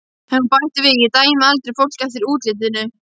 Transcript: Og hún bætti við, Ég dæmi aldrei fólk eftir útlitinu.